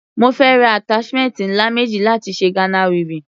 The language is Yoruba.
Mo fẹ́ ra attachment ńlá méjì láti ṣe Ghana weaving.